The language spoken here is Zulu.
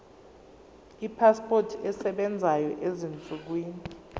ipasipoti esebenzayo ezinsukwini